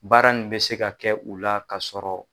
Baara nin be se ka kɛ u la k'a sɔrɔ